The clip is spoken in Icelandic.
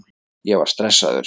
Ég var stressaður.